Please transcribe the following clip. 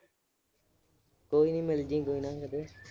ਕੋਈ ਨੀ ਮਿਲ ਜੀ, ਕੋਈ ਨਾ ਕਦੇ।